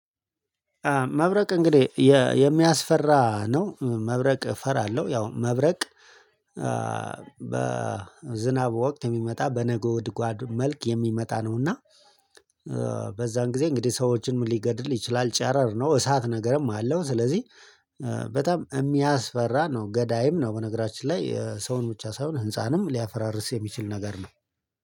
መብረቅ እንግዲህ የሚያስፈራ ነው። መብረቅ እፈራለሁ ያው መብረቅ። በዝናብ ወቅት የሚመጣ በነጎድጓድ መልክ የሚመጣ ነውና። በዛን ጊዜ እንግዲህ ሰዎችን ሊገድል ይችላል ጨረር ነው እሳት ነገርም አለው። ስለዚህ በጣም የሚያስፈራ ነው ገዳይም ነው። በነገራችን ላይ ሰውን ብቻ ሳይሆን ህንፃንም ሊያፈራርስ የሚችል ነገር ነው።